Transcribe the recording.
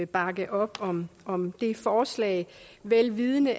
bakke op om om det forslag vel vidende